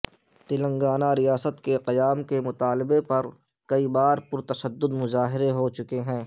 تلنگانہ ریاست کے قیام کے مطالبے پر کئی بار پرتشدد مظاہرے ہو چکے ہیں